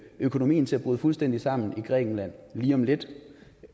økonomien til at bryde fuldstændig sammen i grækenland lige om lidt